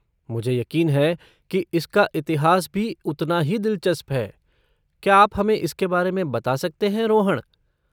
मुझे यकीन है कि इसका इतिहास भी उतना ही दिलचस्प है, क्या आप हमें इसके बारे में बता सकते हैं, रोहण?